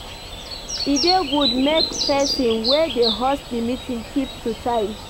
E dey good make person wey dey host di meeting keep to time